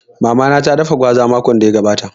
Mama na ta dafa gwaza makon da ya gabata